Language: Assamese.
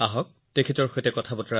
তেওঁৰ সৈতে কথা পাতো আহক